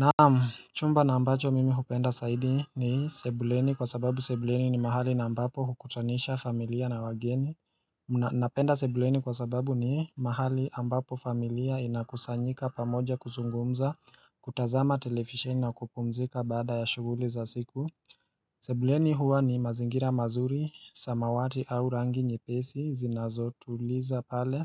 Naam, chumba na ambacho mimi hupenda zaidi ni sebuleni kwa sababu sebuleni ni mahali na ambapo hukutanisha familia na wageni. Napenda sebuleni kwa sababu ni mahali ambapo familia inakusanyika pamoja kuzungumza, kutazama televisheni na kupumzika baada ya shughuli za siku. Sebuleni huwa ni mazingira mazuri, samawati au rangi nyepesi, zinazo tuliza pale